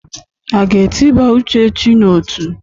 A ga-etịba Uchechi n'ọtú?